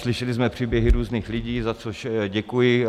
Slyšeli jsme příběhy různých lidí, za což děkuji.